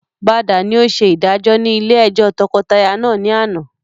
Bada ni ó ṣe ìdájọ́ ni ilé ẹjọ́ tọkọtaya náà ni àná